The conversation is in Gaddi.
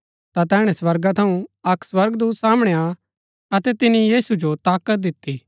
ता तैहणै स्वर्गा थऊँ अक्क स्वर्गदूत सामणै आ अतै तिनी यीशु जो ताकत दिती